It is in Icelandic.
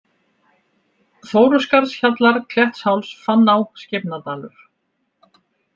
Þóruskarðshjallar, Klettsháls, Fanná, Skeifnadalur